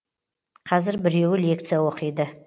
қазір біреуі лекция оқиды